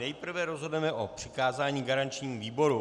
Nejprve rozhodneme o přikázání garančnímu výboru.